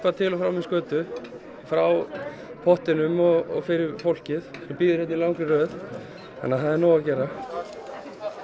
til og frá með skötu frá pottinum og fyrir fólkið sem bíður hérna í langri röð þannig að það er nóg að gera